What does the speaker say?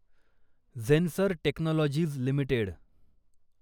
Zensar Technologies limited